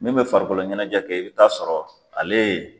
Min bɛ farikolo ɲɛnajɛ kɛ, i bi taa sɔrɔ ale